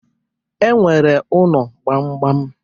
E nwere ụnọ gbamgbam.